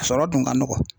A sɔrɔ dun ka nɔgɔn